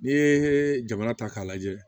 N'i ye jamana ta k'a lajɛ